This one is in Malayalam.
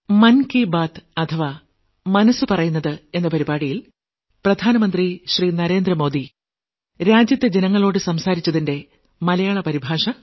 ന്യൂഡൽഹി 30 ജൂൺ 2024